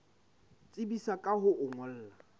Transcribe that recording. tsebisa ka ho o ngolla